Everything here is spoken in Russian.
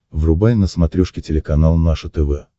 врубай на смотрешке телеканал наше тв